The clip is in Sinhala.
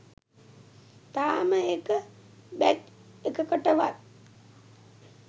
තාම එක බැච් එකකටවත්